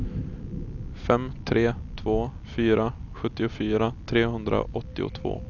fem tre två fyra sjuttiofyra trehundraåttiotvå